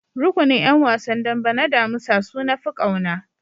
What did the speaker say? Rukunin ƴan wasan dambe na damusa su nafi kauna.